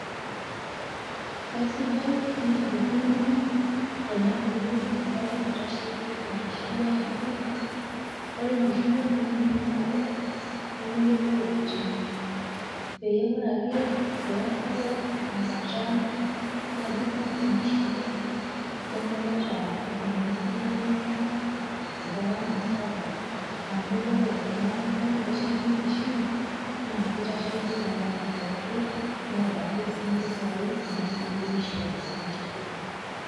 Kaisidai nenarikino tenadumu empalai naitasheiki enkishuiai amu , ore enkishui oltung'ani naa dorrop nemeyoloi oloiting'i. Pee ore ake peebau enkata nadung'o enkishui ai nemeeta iltung'ana lolmarei lai  garama sapuk ama kore ena palai naitasheiki enkishui naa keitasheiki  garama pooki neetake sii mpisai naaidimi aisho ninche.